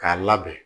K'a labɛn